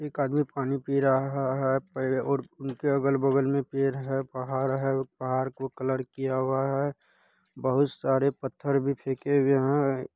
एक आदमी पानी पी रहा रहा है प और उनके अगल-बगल में पेड़ है पहाड़ है पहाड़ को कलर किया हुआ है। बहुत सारे पत्थर भी फेके हुए हैं।